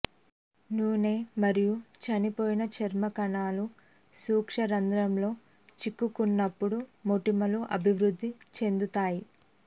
నూనె మరియు చనిపోయిన చర్మ కణాలు సూక్ష్మరంధ్రంలో చిక్కుకున్నప్పుడు మొటిమలు అభివృద్ధి చెందుతాయి